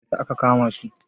Mai yasa aka kama su?